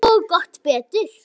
Og gott betur.